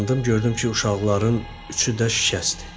Gördüm ki, uşaqların üçü də şikəstdir.